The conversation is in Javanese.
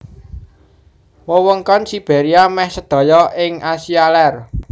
Wewengkon Sibéria meh sedaya ing Asia Lèr